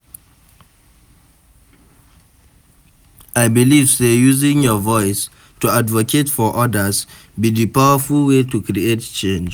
I dey believe say using your voice to advocate for odas be di powerful way to create change.